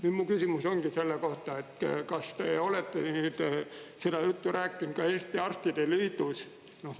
Nüüd mu küsimus ongi selle kohta, et kas te olete nüüd seda juttu rääkinud ka Eesti Arstide Liidus?